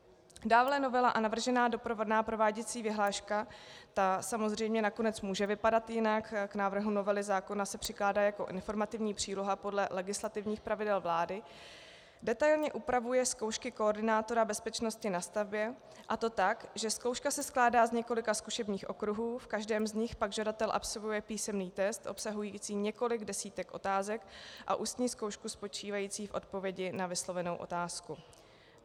Dále novela a navržená doprovodná prováděcí vyhláška - ta samozřejmě nakonec může vypadat jinak, k návrhu novely zákona se přikládá jako informativní příloha podle legislativních pravidel vlády - detailně upravuje zkoušky koordinátora bezpečnosti na stavbě, a to tak, že zkouška se skládá z několika zkušebních okruhů, v každém z nich pak žadatel absolvuje písemný test obsahující několik desítek otázek, a ústní zkoušku spočívající v odpovědi na vyslovenou otázku.